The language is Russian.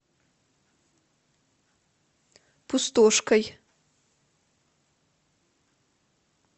пустошкой